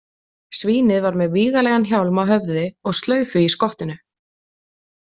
Svínið var með vígalegan hjálm á höfði og slaufu í skottinu.